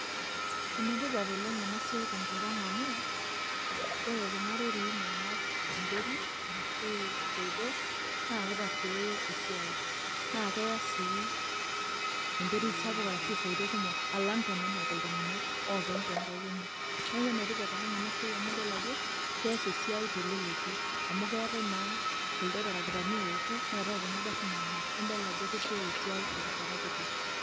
ene tipat oleng ena siai tenkop ang amu ore kuna rorii naanap enterit arashu isoitok, naa kitasiooyo, naa keya sii enterit sapuk, arashu isoitok kumok, alang tenenap iltunganak, oopeny too nkaik enye, neeku ene tipat ena siai amu idol ajo keesa teleleki, amu keeta e naa kuldo tarakitani oouku, neetae kuna garin naanap. nidol ajo kesioyo esiai terishata kiti.